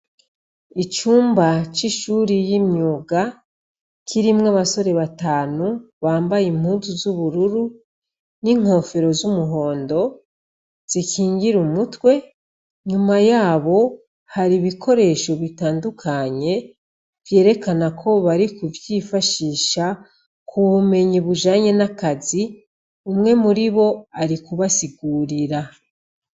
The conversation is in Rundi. Icumba c'ishuri ry'umwuga kirimwo abasore batanu bambaye impuzu z'ubururu n'inkofero z'umuhondo zikingira umutwe, nyuma yabo har'ibikoresho bitandukanye vyerekana ko bari kuvyifashisha ku bumenyi bujanye n'akazi, umwe muribo arik'arabasigurira.